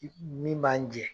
Min b'an jɛ